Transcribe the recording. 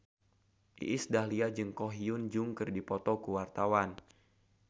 Iis Dahlia jeung Ko Hyun Jung keur dipoto ku wartawan